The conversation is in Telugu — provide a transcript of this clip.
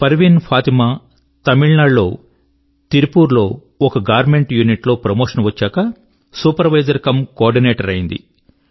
పర్వీన్ ఫాతిమా తమిళనాడు లోని తిరుపూర్ లోని ఒక గార్మెంట్ యూనిట్ లో ప్రమోషన్ వచ్చాక సూపర్ వైజర్ కమ్ కోఆర్డినేటర్ అయింది